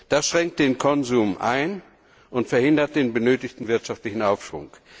Das schränkt den Konsum ein und verhindert den benötigten wirtschaftlichen Aufschwung.